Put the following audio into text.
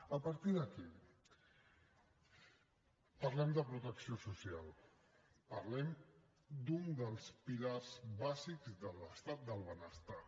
a partir d’aquí parlem de protecció social parlem d’un dels pilars bàsics de l’estat del benestar